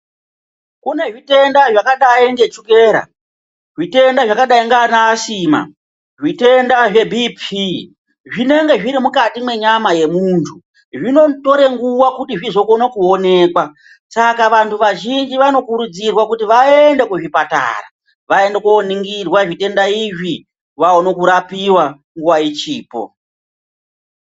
Kune zvitwnda zvakadai ngechukera zvitenda zvakadai ngeana asina zvitenda zvebhipii zvinenge zviri mukati mwenyama yemuntu zvinotore nguwa kuti zvizoonekwa saka vantu vazhinji vanokurudzirwa kuzi vaende kuzvipatara vaende koningirwa zvitwnda izvi vaone kurapiwa nguwa ichipo.